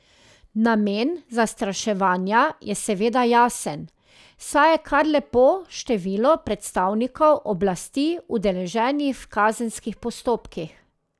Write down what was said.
Namen zastraševanja je seveda jasen, saj je kar lepo število predstavnikov oblasti udeleženih v kazenskih postopkih.